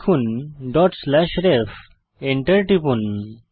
লিখুন ref dot slash ref Enter টিপুন